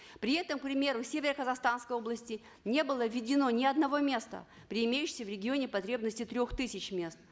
при этом к примеру в северо казахстанской области не было введено ни одного места при имеющейся в регионе потребности трех тысяч мест